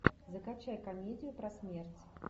закачай комедию про смерть